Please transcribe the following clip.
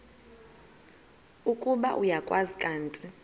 ukuba uyakwazi kanti